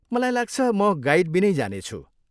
मलाई लाग्छ, म गाइडबिनै जानेछु।